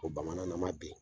O bamana nama bɛ ye.